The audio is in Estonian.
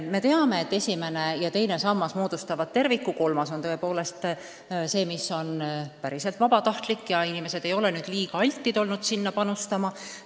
Me teame, et esimene ja teine sammas moodustavad terviku, kolmas on tõepoolest see, mis on päriselt vabatahtlik ja inimesed ei ole olnud kuigi altid sinna panustama.